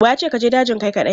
Wa ya ce ka je dajin kai kaɗai?